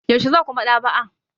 Yaushe za ku Maɗ'aba'a?